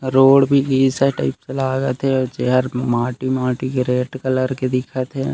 Road भी घिसा type से लागत हे अऊ चेयर माटी-माटी के रेड कलर के दिखत हे।